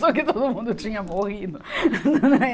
Achou que todo mundo tinha morrido.